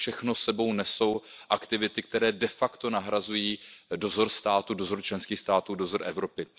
To všechno s sebou nesou aktivity, které de facto nahrazují dozor státu, dozor členských států, dozor Evropy.